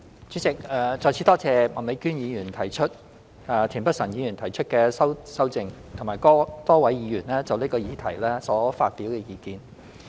主席，再次多謝麥美娟議員提出原議案及田北辰議員提出修正案，以及多位議員就此議題所發表的意見。